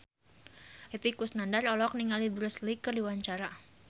Epy Kusnandar olohok ningali Bruce Lee keur diwawancara